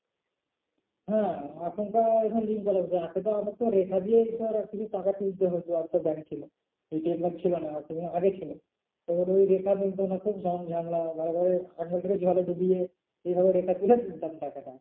হ্যাঁ link করা হয়েছে এতটা আমার তো রেখা দিয়েই ধর কিছু টাকা তুলতে হতো আর তো bank ছিল ATM card ছিল না সেই জন্য, আগে ছিল। তখন রেখা মিলতো না খুব ঝামেলা বরে বরে আঙুল টাকে জলে ডুবিয়ে এইভাবে রেখা তুলে তুলতাম টাকা।